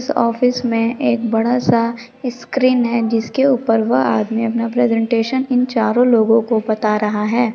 Office में एक बड़ा-सा स्क्रीन हैजिसके ऊपर वह आदमी अपना प्रेजेंटेशन इन चारो लोगो को बता रहा है।